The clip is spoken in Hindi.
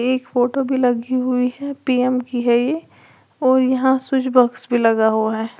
एक फोटो भी लगी हुई है पी_एम की है ये और यहां स्विच बॉक्स भी लगा हुआ है।